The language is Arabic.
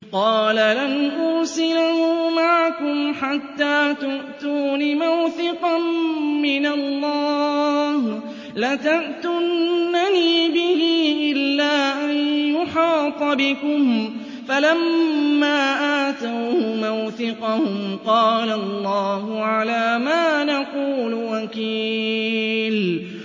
قَالَ لَنْ أُرْسِلَهُ مَعَكُمْ حَتَّىٰ تُؤْتُونِ مَوْثِقًا مِّنَ اللَّهِ لَتَأْتُنَّنِي بِهِ إِلَّا أَن يُحَاطَ بِكُمْ ۖ فَلَمَّا آتَوْهُ مَوْثِقَهُمْ قَالَ اللَّهُ عَلَىٰ مَا نَقُولُ وَكِيلٌ